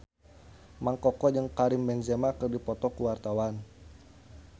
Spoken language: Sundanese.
Mang Koko jeung Karim Benzema keur dipoto ku wartawan